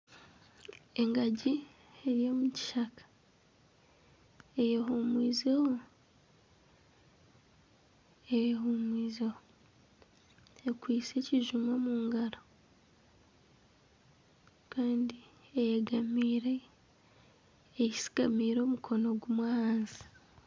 Engagi eri omu kishaka eyehuumwizemu, eyehuumwizeho. Ekwaitse ekijuma omu ngaro. kandi eyegamiire, eyesigamiire omukono gumwe ahansi.